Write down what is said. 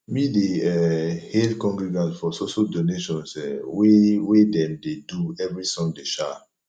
me dey um hail congregants for so so donations um wey wey dem dey do every sunday um